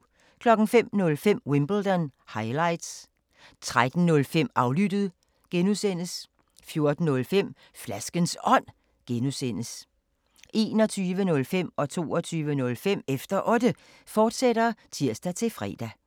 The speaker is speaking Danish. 05:05: Wimbledon – highlights 13:05: Aflyttet (G) 14:05: Flaskens Ånd (G) 21:05: Efter Otte, fortsat (tir-fre) 22:05: Efter Otte, fortsat (tir-fre)